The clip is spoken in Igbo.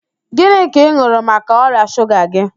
Gịnị ka ị n̄ụrụ maka ọrịa shuga gị